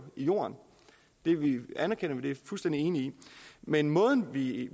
i jorden det anerkender vi vi fuldstændig enige i men måden vi